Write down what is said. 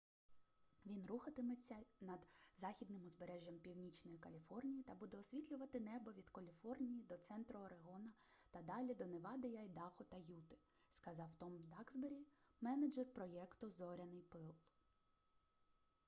він рухатиметься над західним узбережжям північної каліфорнії та буде освітлювати небо від каліфорнії до центру орегона та далі до невади й айдахо та юти - сказав том даксбері менеджер проєкту зоряний пил